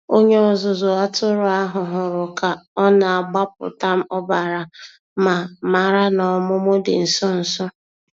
Onye ọzụzụ atụrụ ahụ hụrụ ka ọ na-agbapụta ọbara ma mara na ọmụmụ dị nso. nso.